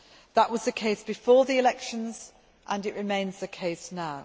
That was the case before the elections, and it remains the case now.